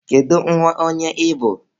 Kedu nwa onye ị bụ?